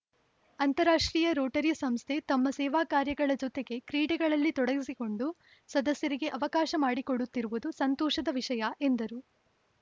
ಅಂತಾರಾಷ್ಟ್ರೀಯ ರೋಟರಿ ಸಂಸ್ಥೆ ತಮ್ಮ ಸೇವಾಕಾರ್ಯಗಳ ಜೊತೆಗೆ ಕ್ರೀಡೆಗಳಲ್ಲಿ ತೊಡಗಿಸಿಕೊಂಡು ಸದಸ್ಯರಿಗೆ ಅವಕಾಶ ಮಾಡಿಕೊಡುತ್ತಿರುವುದು ಸಂತೋಷದ ವಿಷಯ ಎಂದರು